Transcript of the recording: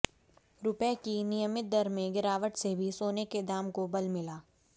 रुपए की विनिमय दर में गिरावट से भी सोने के दाम को बल मिला